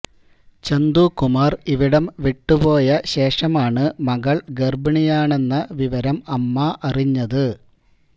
ചന്തുകുമാര് ഇവിടം വിട്ടുപോയ ശേഷമാണ് മകള് ഗര്ഭിണിയാണെന്ന് വിവരം അമ്മ അറിഞ്ഞത്